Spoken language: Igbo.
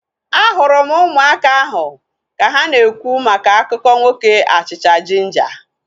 Ahụrụ m ụmụaka ahu ka ha na-ekwu maka akụkọ nwoke achịcha jinja